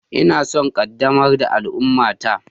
Ina son ƙaddamar da al'ummata.